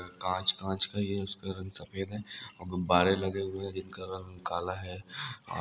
कांच कांच का उसका रंग सफेद है और गुब्बारे लगे हुए हैं जिनका जिनका रंग काला है